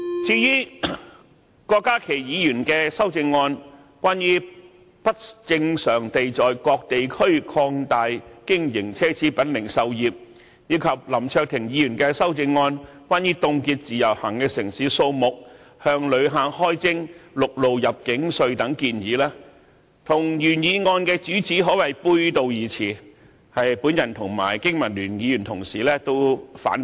至於郭家麒議員的修正案，關於不正常地在各地區擴大經營奢侈品零售業，以及林卓廷議員的修正案，關於凍結"自由行"的城市數目，向旅客開徵陸路入境稅等建議，與原議案的主旨可謂背道而馳，我和經民聯同事均反對。